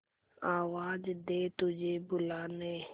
आवाज दे तुझे बुलाने